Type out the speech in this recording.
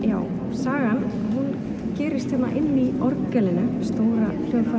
sagan gerist inn í orgelinu hún